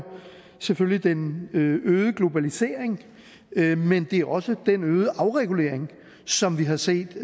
selvfølgelig den øgede globalisering men det er også den øgede afregulering som vi har set